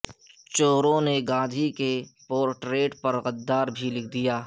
چوروں نے گاندھی کے پورٹریٹ پر غدار بھی لکھ دیا